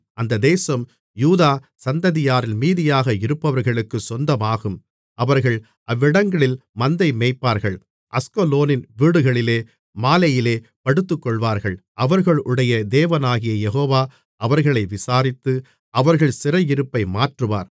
அந்த தேசம் யூதா சந்ததியாரில் மீதியாக இருப்பவர்களுக்குச் சொந்தமாகும் அவர்கள் அவ்விடங்களில் மந்தை மேய்ப்பார்கள் அஸ்கலோனின் வீடுகளிலே மாலையிலே படுத்துக்கொள்வார்கள் அவர்களுடைய தேவனாகிய யெகோவா அவர்களை விசாரித்து அவர்கள் சிறையிருப்பை மாற்றுவார்